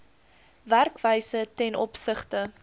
werkwyse ten opsigte